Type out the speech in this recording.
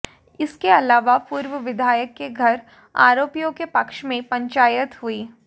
इसके अलावा पूर्व विधायक के घर आरोपियों के पक्ष में पंचायत हुई